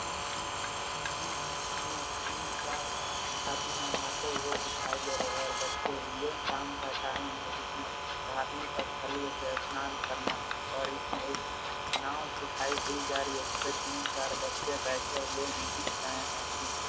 यह एक नदी है जो तीन चार आदमी नहाते हुए दिखाई दे रहे हैं और बच्चे भी हैं। शाम का टाइम है जिसमे धार्मिक स्थलीय से स्नान करना और इसमे एक नाव दिखाई दी जा रही हैं जिसमे तीन चार बच्चे भी बैठे हुए भी दिख रहे हैं जिनके --